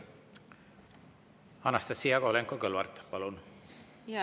Anastassia Kovalenko-Kõlvart, palun!